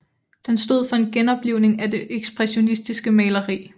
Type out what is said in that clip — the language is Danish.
Den stod for en genoplivning af det ekspressionistiske maleri